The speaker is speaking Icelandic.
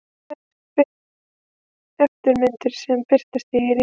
Þær eru eftirmyndir sem birtast í rými.